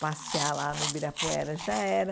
Passear lá no Ibirapuera já era.